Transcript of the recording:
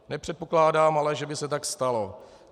Nepředpokládám ale, že by se tak stalo.